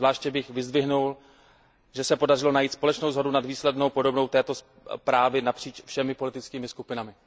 Zvláště bych vyzdvihnul, že se podařilo najít společnou shodu nad výslednou podobou této zprávy napříč všemi politickými skupinami.